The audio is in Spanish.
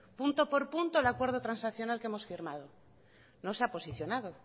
punto por punto el acuerdo transaccional que hemos firmado no se ha posicionado